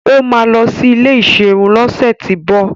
Ó máa lọ sí ilé ìserun lọ́sẹ̀tíbọ̀